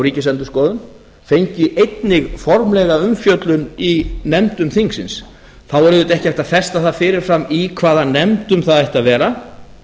ríkisendurskoðun fengi einnig formlega umfjöllun í nefndum þingsins þá yrði auðvitað ekki hægt að festa það fyrirfram í hvaða nefndum það ætti að vera